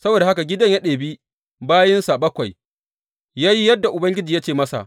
Saboda haka Gideyon ya ɗebi bayinsa bakwai ya yi yadda Ubangiji ya ce masa.